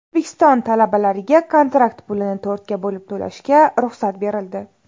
O‘zbekiston talabalariga kontrakt pulini to‘rtga bo‘lib to‘lashga ruxsat berildi.